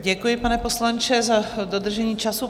Děkuji, pane poslanče, za dodržení času.